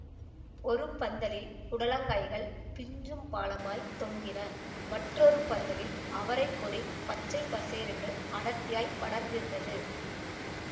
ஒரு பந்தலில் புடலங்காய்கள் பிஞ்சும் பாலமாய்த் தொங்கின மற்றொரு பந்தலில் அவரை கொடி பச்சைப்பசேல் என்று அடர்த்தியாய்ப் படர்ந்திருந்தது